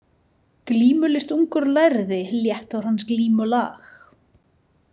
Glímulist ungur lærði létt var hans glímulag.